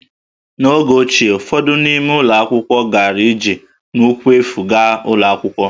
N’oge ochie, ụfọdụ n’ime ụmụ akwụkwọ gara ije n'ụkwụ efu gaa ụlọ akwụkwọ